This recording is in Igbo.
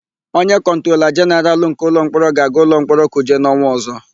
Onye Kọntrola Jenaralụ nke Ụlọmkpọrọ ga-aga ụlọmkpọrọ Kuje n'ọnwa ọ̀zọ́.